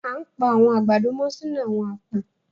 À n pa àwọn agbádọ̀ mọ́ sínu àwọn àpò